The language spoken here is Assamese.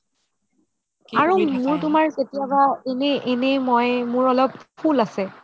আৰু মই তুমাৰ কেতিয়াবা এনে এনে মই মোৰ অলপ ফুল আছে